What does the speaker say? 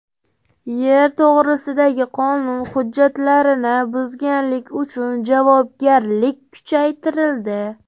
Yer to‘g‘risidagi qonun hujjatlarini buzganlik uchun javobgarlik kuchaytirildi.